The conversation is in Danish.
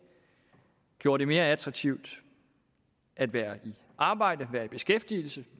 gjorde det mere attraktivt at være i arbejde være i beskæftigelse